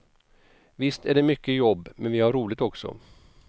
Visst är det mycket jobb, men vi har roligt också.